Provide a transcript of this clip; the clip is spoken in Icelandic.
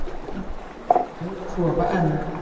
Í sínu rúmi sofa enn,